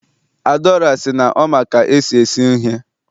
adaora si na o ma ka esi ese ihe